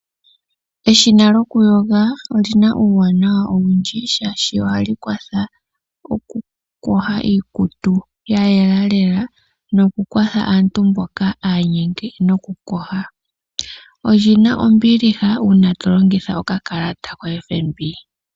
Eshina lyokuyoga oli na uuwanawa owundji, oshoka ohali kwathele okuyoga iikutu ya yela nawa, nokukwatha aantu mboka ya nyengwa okuyoga. Oli na ombiha uuna to longitha okakalata koFNB.